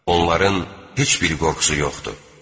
Onların heç bir qorxusu yoxdur.